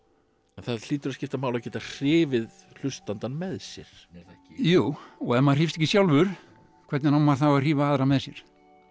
en það hlýtur að skipta máli að geta hrifið hlustandann með sér er það ekki jú og ef maður hrífst ekki sjálfur hvernig á maður þá að hrífa aðra með sér